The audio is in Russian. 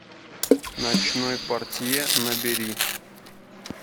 ночной портье набери